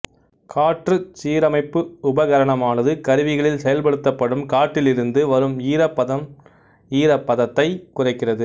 காற்றுச் சீரமைப்பு உபகரணமானது கருவிகளில் செயல்படுத்தப்படும் காற்றிலிருந்து வரும் ஈரப்பதன்ஈரப்பதத்தைக் குறைக்கிறது